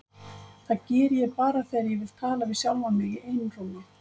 Það geri ég bara þegar ég vil tala við sjálfan mig í einrúmi.